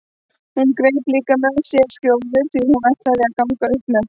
Hún greip líka með sér skjóður því hún ætlaði að ganga upp með